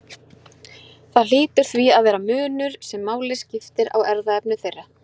Það hlýtur því að vera munur sem máli skiptir á erfðaefni þeirra.